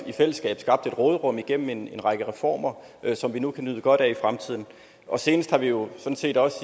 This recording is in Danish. i fællesskab skabt et råderum igennem en række reformer som vi nu kan nyde godt af i fremtiden senest er vi jo sådan set også